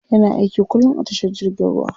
Yana aiki kullum a tashar jirgin ruwa.